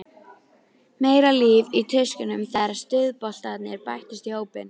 Ég er með endurrit úr Dómabók í farteskinu.